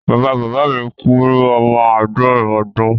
Bàbá bàbá mi kú ní ọmọ àádọ́rin ọdún.